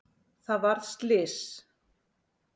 Það varð slys.